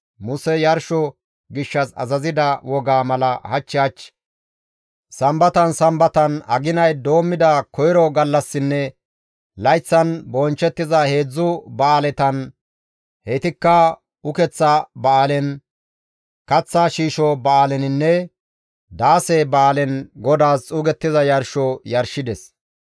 Musey Yarsho gishshas azazida wogaa mala hach hach, Sambatan Sambatan, aginay doommida koyro gallassinne layththan bonchchettiza heedzdzu ba7aaletan heytikka Ukeththa Ba7aalen, Kaththa shiisho Ba7aaleninne Daase Ba7aalen GODAAS xuugettiza yarsho yarshides.